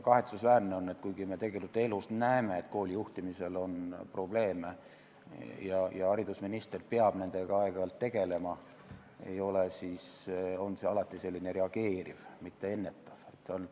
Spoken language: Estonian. Kahetsusväärne on, et kuigi me elus näeme, et koolide juhtimisel on probleeme ja haridusminister peab nendega aeg-ajalt tegelema, on see alati reageeriv, mitte ennetav tegevus.